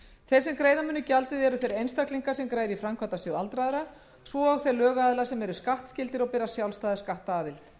þeir sem greiða munu gjaldið eru þeir einstaklingar sem greiða í framkvæmdasjóð aldraðra svo og þeir lögaðilar sem eru skattskyldir og bera sjálfstæða skattaðild